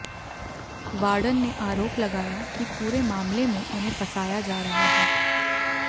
warden ने आरोप लगाया कि पूरे मामले में उन्हें फंसाया जा रहा है